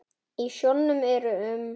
Í sjónum eru um